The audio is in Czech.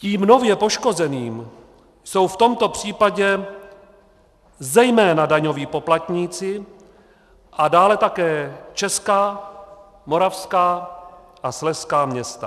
Tím nově poškozeným jsou v tomto případě zejména daňoví poplatníci a dále také česká, moravská a slezská města.